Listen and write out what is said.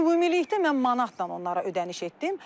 Ümumilikdə mən manat onlara ödəniş etmişdim.